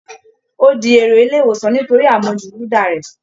Ó di èrò ilé ìwòsàn nítorí àmujù gúda rẹ